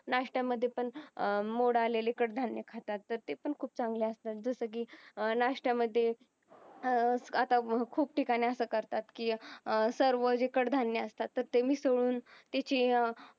नाश्ट्या मध्ये पण अं मोड आलेले कडधान्य खातात तर ते पण खूप चांगले असतात जस की अं नाश्ट्या मध्ये अह आता खूप ठिकाणी असं करतात की अह सर्व जे कडधान्य असतात ते मिसळून त्याची अह